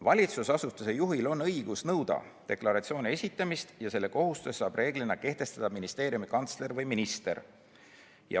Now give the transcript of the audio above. Valitsusasutuse juhil on õigus nõuda deklaratsiooni esitamist ja selle kohustuse saab reeglina kehtestada ministeeriumi kantsler või minister.